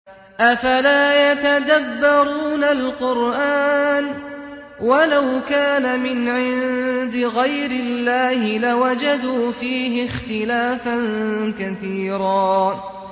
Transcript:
أَفَلَا يَتَدَبَّرُونَ الْقُرْآنَ ۚ وَلَوْ كَانَ مِنْ عِندِ غَيْرِ اللَّهِ لَوَجَدُوا فِيهِ اخْتِلَافًا كَثِيرًا